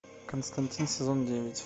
константин сезон девять